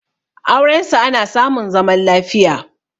aurensu ana samun zaman lafiya